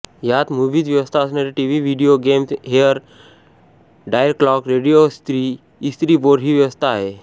यात मुव्हीज व्यवस्था असणारे TV video games hair dryer clock रेडियोइस्त्री इस्त्री बोर्ड ही व्यवस्था आहे